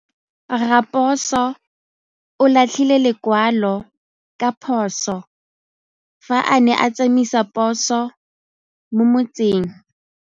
Raposo o latlhie lekwalô ka phosô fa a ne a tsamaisa poso mo motseng.